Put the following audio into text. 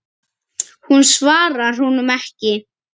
Hún svarar honum ekki.